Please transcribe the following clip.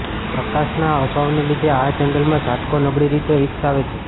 પ્રકાશના અભાવને લીધે આ જંગલમાં ઝાટકો નબળી રીતે વિકસાવે છે